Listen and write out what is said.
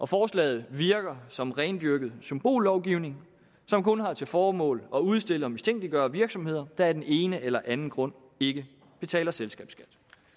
forslaget virker som rendyrket symbollovgivning som kun har til formål at udstille og mistænkeliggøre virksomheder der af den ene eller anden grund ikke betaler selskabsskat